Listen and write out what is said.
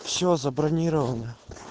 всё забронировано